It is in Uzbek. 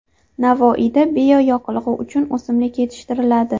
Navoiyda bioyoqilg‘i uchun o‘simlik yetishtiriladi.